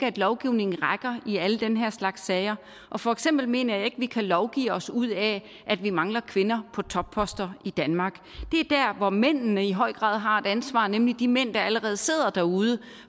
at lovgivningen rækker i alle den her slags sager og for eksempel mener jeg ikke at vi kan lovgive os ud af at vi mangler kvinder på topposter i danmark det er der hvor mændene i høj grad har et ansvar nemlig de mænd der allerede sidder derude